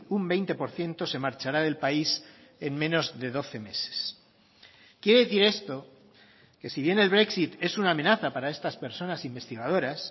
un veinte por ciento se marchará del país en menos de doce meses quiere decir esto que si bien el brexit es una amenaza para estas personas investigadoras